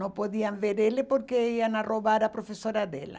Não podiam ver ele porque iam roubar a professora dela.